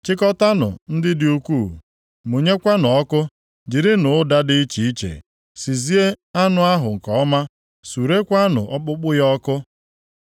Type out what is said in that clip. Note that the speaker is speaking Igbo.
Chịkọtaanụ nkụ dị ukwuu, mụnyekwanụ ọkụ. Jirinụ ụda dị iche iche sizie anụ ahụ nke ọma; surekwaanụ ọkpụkpụ ya ọkụ.